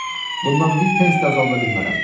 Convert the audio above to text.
Bundan bir pens də azalda bilmərəm.